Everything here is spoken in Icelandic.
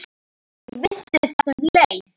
Ég vissi þetta um leið.